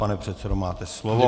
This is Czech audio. Pane předsedo, máte slovo.